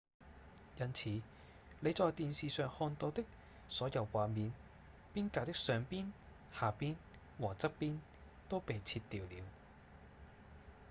因此你在電視上看到的所有畫面邊界的上邊、下邊和側邊都被切掉了